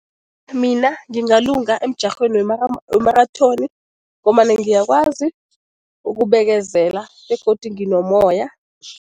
Mina ngingalunga emjarhweni wemarathoni ngombana ngiyakwazi ukubekezela begodu nginomoya.